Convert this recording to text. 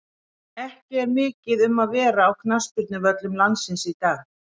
Ekki er mikið um að vera á knattspyrnuvöllum landsins í dag.